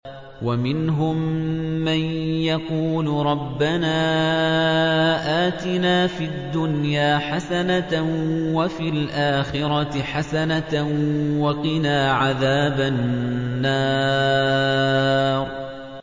وَمِنْهُم مَّن يَقُولُ رَبَّنَا آتِنَا فِي الدُّنْيَا حَسَنَةً وَفِي الْآخِرَةِ حَسَنَةً وَقِنَا عَذَابَ النَّارِ